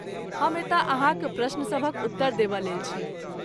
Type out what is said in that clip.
हम एतय अहाँक प्रश्नसभक उत्तर देबयलेल छी।